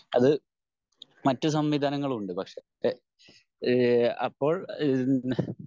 അത് മറ്റ് സംവിധാനങ്ങളുണ്ട് പക്ഷെ ഈഹ് അപ്പോൾ ഈഹ്മ്